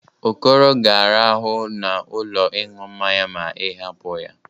Okoro ga-arahụ n'ụlọ ịñụ mmanya ma ị hapụ ya.